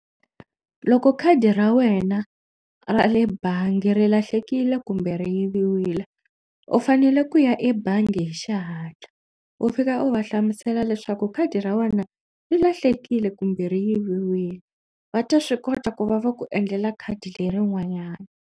Loko khadi ra wena ra le bangi ri lahlekile kumbe ri yiviwile u fanele ku ya ebangi hi xihatla u fika u va hlamusela leswaku khadi ra wena ri lahlekile kumbe ri yiviwile va ta swi kota ku va va ku endlela khadi lerin'wanyana.